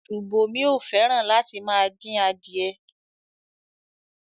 Ṣùbòmí ò fẹ́ràn láti máa dín adìẹ.